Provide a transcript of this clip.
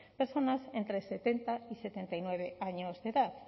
personas entre setenta y setenta y nueve años de edad